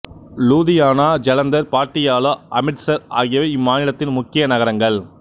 லூதியானா ஜலந்தர் பாட்டியாலா அம்ரித்சர் ஆகியவை இம்மாநிலத்தின் முக்கிய நகரங்கள்